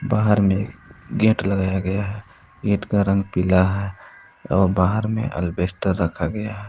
बाहर में गेट लगाया गया है गेट का रंग पीला है और बाहर में अल्बेस्टेर रखा गया है।